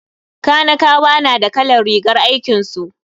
Kanikawa na da kalar rigar aikinsu.